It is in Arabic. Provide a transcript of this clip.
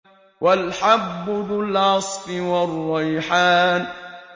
وَالْحَبُّ ذُو الْعَصْفِ وَالرَّيْحَانُ